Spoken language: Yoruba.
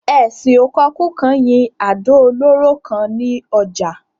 Esin ò kokú kan yín àdò olóró kan ni ojà